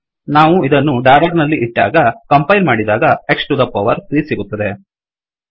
ನಾವು ಇದನ್ನು ಡಾಲರ್ ನಲ್ಲಿ ಇಟ್ಟಾಗ ಕಂಪೈಲ್ ಮಾಡಿದಾಗ X ಟು ದ ಪವರ್ 3 ಸಿಗುತ್ತದೆ